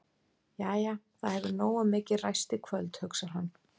Jæja, það hefur nógu mikið ræst í kvöld, hugsar hann glaður.